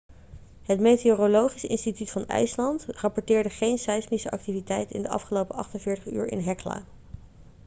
het meteorologisch instituut van ijsland rapporteerde geen seismische activiteit in de afgelopen 48 uur in hekla